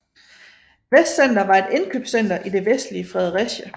Vestcenter var et indkøbscenter i det vestlige Fredericia